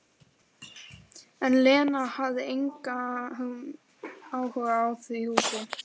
En Lena hafði engan áhuga á því húsi.